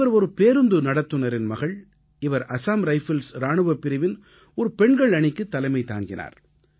இவர் ஒரு பேருந்து நடத்துனரின் மகள் இவர் அஸாம் ரைபிள்ஸ் இராணுவப் பிரிவின் ஒரு பெண்கள் அணிக்குத் தலைமை தாங்கினார்